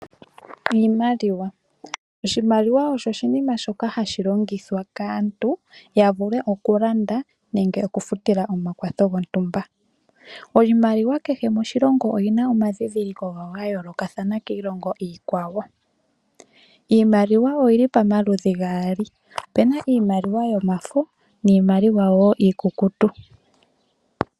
Iimaliwa , Oshimaliwa osho oshinima shoka hashi longithwa kaantu ya vule okulanda nenge okufutila omakwatho gawo gontumba. Iimaliwa kehe moshilongo oyi na omandhindhiliko gawo ga yooloka kiilongo iikwawo. Opu na omaludhi gaali giimaliwa yomafo nosho woo iikukutu.